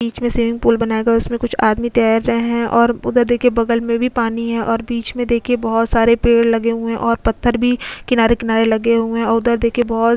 बीच में swimming pool बनाएगा उसमें कुछ आदमी तैर रहे हैं और उधर देखिए बगल में भी पानी है और बीच में देखिए बहुत सारे पेड़ लगे हुए हैं और पत्थर भी किनारे-किनारे लगे हुए हैं और उधर देखिए बहुत --